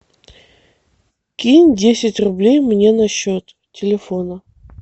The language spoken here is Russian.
кинь десять рублей мне на счет телефона